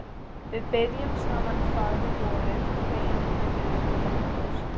Við biðjum saman faðirvorið og beygjum höfuðin ofan í brjóst.